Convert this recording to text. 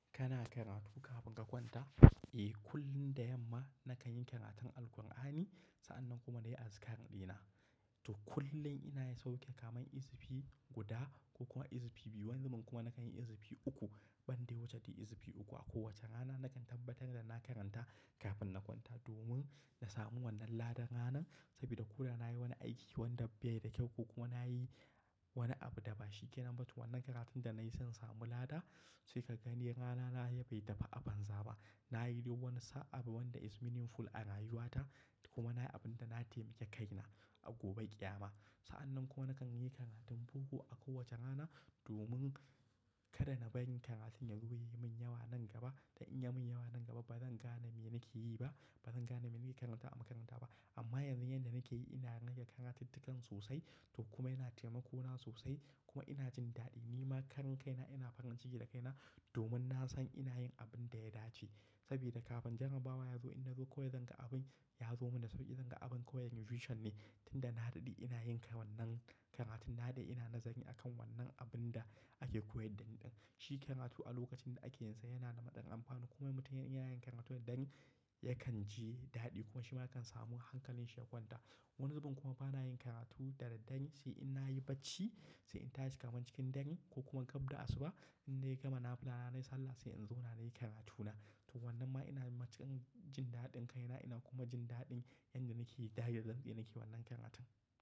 Kana karatu kafin ka kwanta? Eh, kullum da yamma nakan yi karatun Alqur'ani. Sa'annan kuma na yi azikarrina. To kullum ina sauke kamar izfi guda ko kuma izfi biyu. Wani zubin kuma nakan yi izfi uku, ban dai wuce ta izfi uku. Akowace rana nakan na tabbatar da na karanta kafin na kwanta domin na samu wannan ladan ranar saboda ko da na yi wani aiki wanda bai da kyau ko kuma na yi wani abu da ba shi ke nan ba, to wannan karatun da na yi zan samu lada. Sai ka gani rana na ya bai tafi aban zaba. Na yi duk wani abu wanda is meaningful a rayuwata kuma na yi abin da na taimake kaina a gobe ƙiyama. Sa'annan kuma nakan yi karatun boko a kowace rana domin kada na bari karatun yazo ya yi min yawa nan gaba. Dan in yi min yawa nan gaba, ba zan gane me nake yi ba. Ba zan gane me nake karanta a makaranta ba. Amma yanzu, yanda nake yi, ina rage karatuttukan sosai to kuma yana taimako na sosai kuma ina jin daɗi. Ni ma karin kaina, ina farin ciki da kaina domin na san ina yin abin da ya dace. Saboda kafin janar bawa ya zo, in na zo koya zan ga abin ya zo min da sauƙi. Zan ga abin koyar revetion ne tunda na daɗe ina yin wannan karatun. Na da ina nazari a kan wannan abin da ake koyar dani ɗin. Shi karatu a lokacin da ake yinsa yana da maɗin amfani. Kuma mutum idan yana yin karatu da dangi, yakan ji daɗi kuma shi ma kan samu hankalin shi ya kwanta. Wani zubinn kuma bana yin karatu da daddare sai in na yi bacci, sai in tashi kaman cikin dare ko kuma gabda asuba. Inna gama nafila na nai sallah sai inzauna nayi karatuna to wannan ma ina cikin jin daɗin kaina ina kuma jin daɗin yanda nake yi. Da yardar tsinke nake wannan karatun.